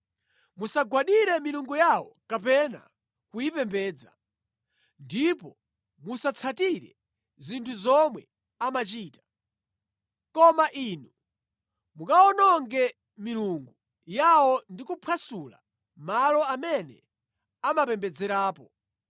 Musagwadire milungu yawo kapena kuyipembedza. Ndipo musatsatire zinthu zomwe amachita. Koma inu mukawononge milungu yawo ndi kuphwasula malo amene amapembedzerapo.